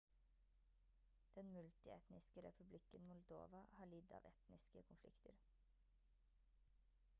den multietniske republikken moldova har lidd av etniske konflikter